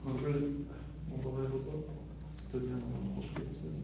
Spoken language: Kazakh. нұргүл молдағайқызы студиямызға қош келіпсіз